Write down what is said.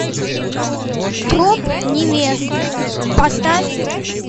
труп невесты поставь